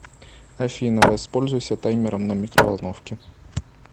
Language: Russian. афина воспользуйся таймером на микроволновке